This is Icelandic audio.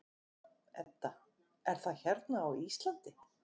Edda: Er það hérna á Íslandi?